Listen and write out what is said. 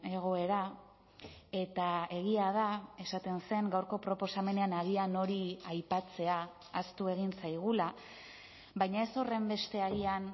egoera eta egia da esaten zen gaurko proposamenean agian hori aipatzea ahaztu egin zaigula baina ez horrenbeste agian